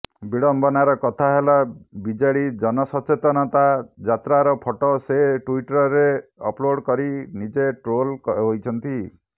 ବିଡମ୍ବନାର କଥା ହେଲା ବିଜେଡି ଜନସଚେତନତା ଯାତ୍ରାର ଫଟୋ ସେ ଟ୍ୱିଟରରେ ଅପଲୋଡ କରି ନିଜେ ଟ୍ରୋଲ୍ ହୋଇଛନ୍ତି